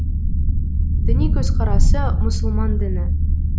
діни көзқарасы мұсылман діні